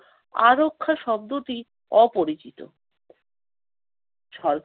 আরক্ষা শব্দটি অপরিচিত।